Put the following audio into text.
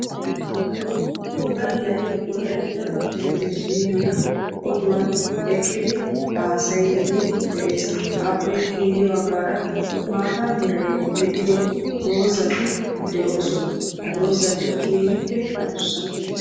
woddalay wolaytta talbajiniyaa oduwani eqidi haassayidi bettessi aappe ya bagara maatta meray de"iyo dozzati doossona ha getikka keehippe addussa.